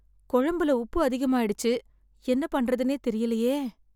குழம்புல உப்பு அதிகமாயிடுச்ச்சு என்ன பண்றதுன்னே தெரியலையே.